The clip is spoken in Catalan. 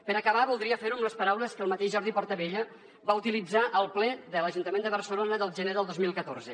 per acabar voldria fer ho amb les paraules que el mateix jordi portabella va utilitzar al ple de l’ajuntament de barcelona del gener del dos mil catorze